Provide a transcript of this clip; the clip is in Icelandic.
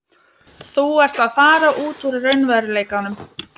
Þú ert að fara út úr raunveruleikanum.